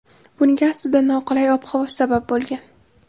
Bunga aslida noqulay ob-havo sabab bo‘lgan.